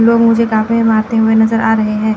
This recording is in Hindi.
लोग मुझे कांपे मारते हुए नजर आ रहे हैं।